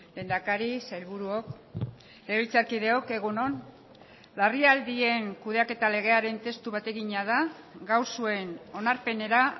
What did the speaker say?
lehendakari sailburuok legebiltzarkideok egun on larrialdien kudeaketa legearen testu bategina da gaur zuen onarpenera